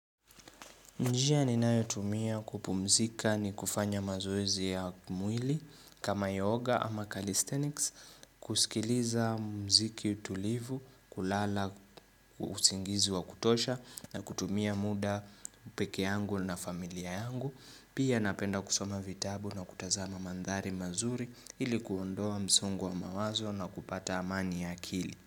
Njia ninayotumia kupumzika ni kufanya mazoezi ya mwili kama yoga ama calisthenics, kusikiliza mziki utulivu, kulala usingizi wa kutosha na kutumia muda peke yangu na familia yangu. Pia napenda kusoma vitabu na kutazama mandhari mazuri ili kuondoa msungo wa mawazo na kupata amani ya akili.